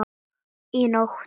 Í nótt?